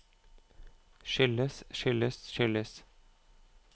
skyldes skyldes skyldes